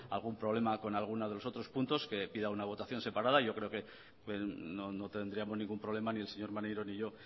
algún problema con alguno de los otros puntos que pida una votación separada yo creo que no tendríamos ningún problema ni el señor maneiro ni yo